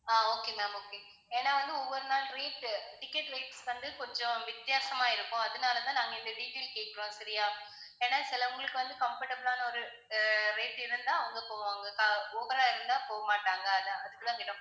ஆஹ் okay ma'am okay ஏன்னா வந்து ஒவ்வொரு நாள் rate ticket rate வந்து கொஞ்சம் வித்தியாசமா இருக்கும் அதனால தான் நாங்க இந்த detail கேக்குறோம் சரியா ஏன்னா சிலவங்களுக்கு வந்து comfortable ஆனா ஒரு rate இருந்தாதான் அவங்க போவாங்க over ரா இருந்தா போக மாட்டாங்க அதான் அதுக்குதான் கேட்டோம்.